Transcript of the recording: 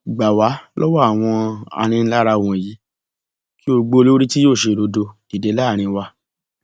gbà wá lọwọ àwọn aninilára wọnyí kí o gbé olórí tí yóò ṣe òdodo dìde láàrin wa